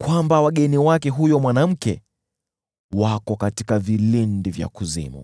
kwamba wageni wake huyo mwanamke wako katika vilindi vya kuzimu.